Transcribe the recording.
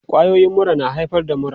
Kwayoyin mura na haifar da mura.